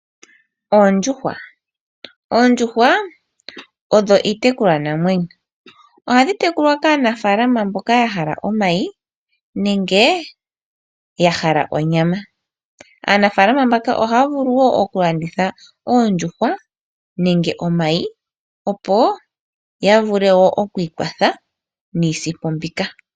Oondjuhwa, oondjuhwa odho iitekulwa namwenyo ohadhi tekulwa kaanafalama mboka yahala omayi nenge yahala onyama. Aanafalama ohaya vulu okulanditha oondjuhwa nenge omayi opo yavule okwiikwatha niisimpo.